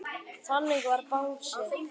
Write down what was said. Þannig var Bangsi.